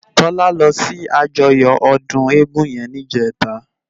Tola lò si àjòyò òdún égùn yèn nijètá